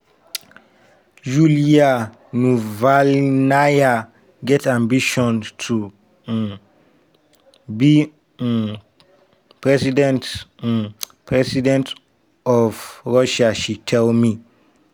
yulia navalnaya get ambition to um be um president um president of russia she tell me.